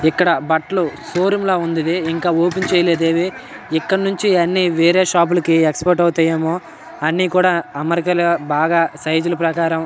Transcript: ఇక్కడ బట్టలు show room లా ఉంది ఇది. ఇంకా ఓపెన్ చేయలేదు ఇది. ఇక్కడ నుంచే అన్ని వేరే షాప్ లకు ఎక్స్పర్ట్ అవుతాయేమో అన్నీ కూడా అమెరిక లా బాగా సైజ్ ల ప్రకారం -.